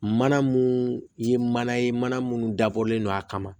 Mana mun ye mana ye mana munnu dabɔlen don a kama